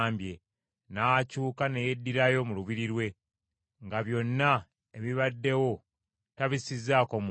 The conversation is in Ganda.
n’akyuka ne yeddirayo mu lubiri lwe, nga byonna ebibaddewo tabissizzaako mwoyo.